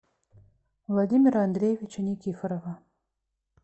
владимира андреевича никифорова